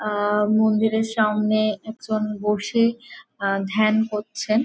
আ-আ মন্দিরের সামনে একজন বসে আ ধ্যান করছেন।